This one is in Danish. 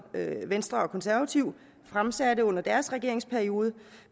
venstre og konservative fremsatte under deres regeringsperiode